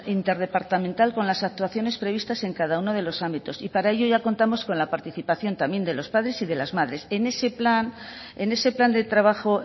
interdepartamental con las actuaciones previstas en cada uno de los ámbitos y para ello ya contamos con la participación también de los padres y de las madres en ese plan de trabajo